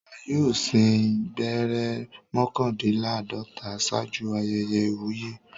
Ọba yóò sín gbẹ́rẹ́ mọ́kàndínláàdọ́ta ṣáájú ayẹyẹ ìwúyè.